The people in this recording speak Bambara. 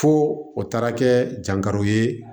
Fo o taara kɛ jankaro ye